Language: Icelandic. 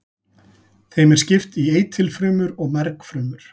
Þeim er skipt í eitilfrumur og mergfrumur.